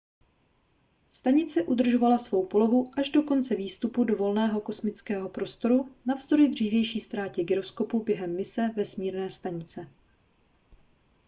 stanice udržovala svou polohu až do konce výstupu do volného kosmického prostoru navzdory dřívější ztrátě gyroskopu během mise vesmírné stanice